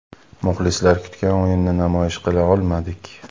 Muxlislar kutgan o‘yinni namoyish qila olmadik.